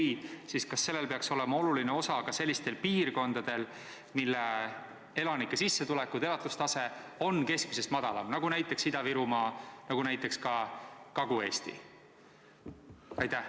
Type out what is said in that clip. Kui jah, siis kas see peaks täitma olulist osa sellistes piirkondades, mille elanike sissetulekud ja elatustase on keskmisest madalamad, näiteks Ida-Virumaa, Kagu-Eesti?